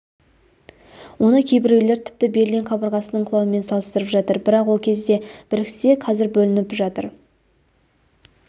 оны кейбіреулер тіпті берлин қабырғасының құлауымен салыстырып жатыр бірақ ол кезде біріксе қезір бөлініп жатыр